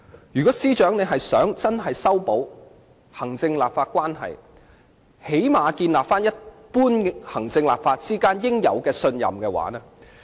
如果司長真的想修補行政立法關係，最低限度須重建行政機關與立法會之間應有的一般信任。